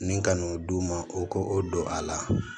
Ni ka n'o d'u ma u k'o don a la